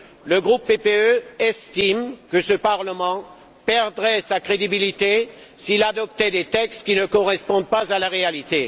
Le groupe PPE estime que ce parlement perdrait sa crédibilité s'il adoptait des textes qui ne correspondent pas à la réalité.